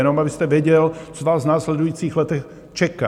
Jenom abyste věděl, co vás v následujících letech čeká.